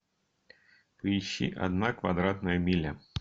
поищи одна квадратная миля